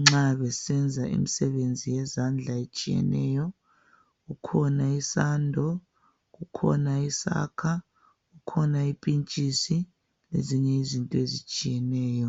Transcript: nxa besenza imisebenzi yezandla etshiyeneyo kukhona isando kukhona isakha kukhona impintsisi lezinye izinto ezitshiyeneyo